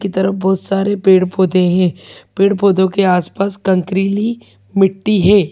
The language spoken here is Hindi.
की तरफ बहुत सारे पेड़-पौधे हैं पेड़-पौधों के आसपास कंकरीली मिट्टी है।